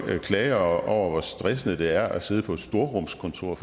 klager over hvor stressende det er at sidde på et storrumskontor